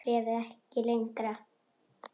Var bréfið ekki lengra?